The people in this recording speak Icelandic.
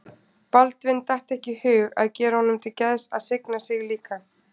Baldvin datt ekki í hug að gera honum til geðs að signa sig líka.